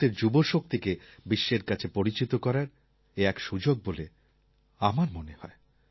ভারতের যুবশক্তিকে বিশ্বের কাছে পরিচিত করার এ এক সুযোগ বলে আমার মনে হয়